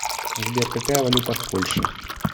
сбер какая валюта в польше